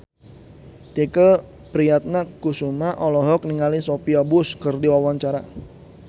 Tike Priatnakusuma olohok ningali Sophia Bush keur diwawancara